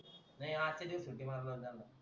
नाय आजच्या दिवस सुट्टी मारलो